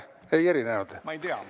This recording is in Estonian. Ei erinenud?